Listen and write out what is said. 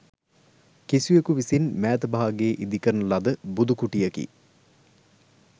කිසිවකු විසින් මෑත භාගයේ ඉදිකරන ලද බුදු කුටියකි.